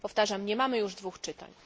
Powtarzam nie mamy już dwóch czytań.